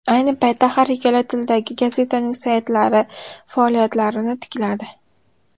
Ayni paytda har ikkala tildagi gazetaning saytlari faoliyatlarini tikladi.